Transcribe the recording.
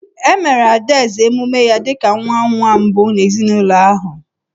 E meere Adaeze emume ya dị ka nwa nwa mbụ n’ezinụlọ ahụ.